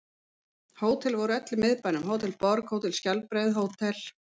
Hótel voru öll í Miðbænum: Hótel Borg, Hótel Skjaldbreið, Hótel